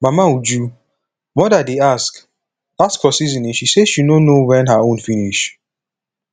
mama uju mother dey ask ask for seasoning she say she no know wen her own finish